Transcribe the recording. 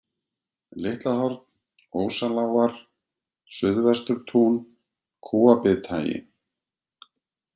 Litlahorn, Ósalágar, Suðvesturtún, Kúabithagi